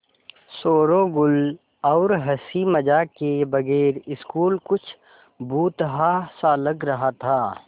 शोरोगुल और हँसी मज़ाक के बगैर स्कूल कुछ भुतहा सा लग रहा था